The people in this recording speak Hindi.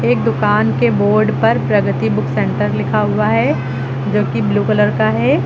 एक दुकान के बोर्ड पर प्रगति बुक सेंटर लिखा हुआ है जो की ब्लू कलर का है।